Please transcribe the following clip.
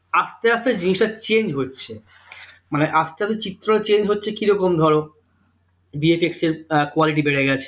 আস্তে আস্তে জিনিসটা change হচ্ছে মানে আস্তে আস্তে চিত্র change হচ্ছে কিরকম ধরো bfx এর আহ quality বেরে গেছে